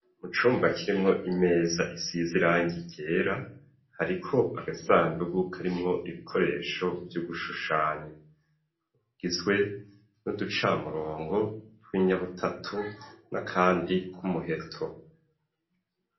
Mu cumba kirimwo imeza isize irangi ryera hariko agasandugu karimwo ibikoresho vyugushushanya igizwe n'uducamurongo tw'inyabutatu na kandi k'umuheto